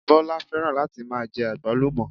Bọ́lá fẹ́ràn láti máa jẹ àgbálùmọ̀